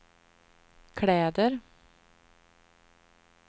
kläder